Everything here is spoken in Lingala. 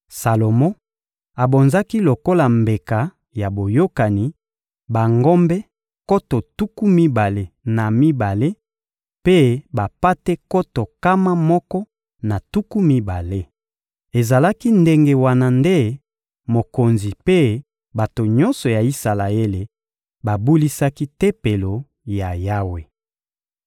Salomo abonzaki lokola mbeka ya boyokani bangombe nkoto tuku mibale na mibale mpe bampate nkoto nkama moko na tuku mibale. Ezalaki ndenge wana nde mokonzi mpe bato nyonso ya Isalaele babulisaki Tempelo ya Yawe.